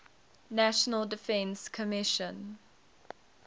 national defense commission